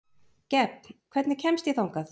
Gefn, hvernig kemst ég þangað?